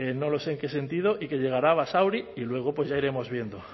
no lo sé en qué sentido y que llegará a basauri y luego pues ya iremos viendo